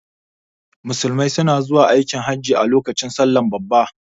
Musulmai suna zuwa aikin hajin a lokacin salla babba